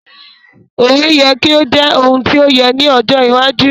Òwe yẹ ki o jẹ oun ti o yẹ ni ojo iwájú